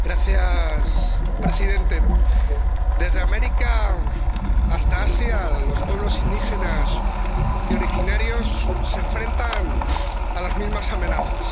Señor presidente, desde América hasta Asia, los pueblos indígenas y originarios se enfrentan a las mismas amenazas.